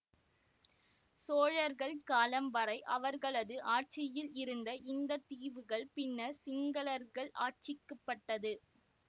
சோழர்கள் காலம் வரை அவர்களது ஆட்சியில் இருந்த இந்த தீவுகள் பின்னர் சிங்களர்கள் ஆட்சிக்குட்பட்டது